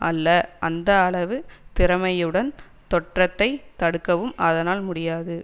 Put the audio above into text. அல்ல அந்த அளவு திறமையுடன் தொற்றைத் தடுக்கவும் அதனால் முடியாது